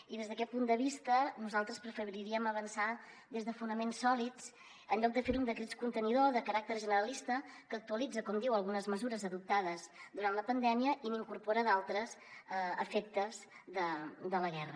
i des d’aquest punt de vista nosaltres preferiríem avançar des de fonaments sòlids en lloc de fer ho amb decrets contenidor de caràcter generalista que actualitzen com diu algunes mesures adoptades durant la pandèmia i n’incorporen d’altres a efectes de la guerra